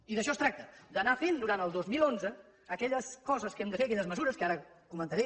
i d’això es tracta d’anar fent durant el dos mil onze aquelles coses que hem de fer aquelles mesures que ara comentaré